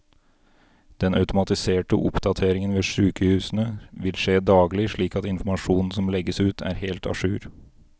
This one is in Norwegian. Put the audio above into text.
Den automatiserte oppdateringen ved sykehusene vil skje daglig, slik at informasjonen som legges ut er helt a jour.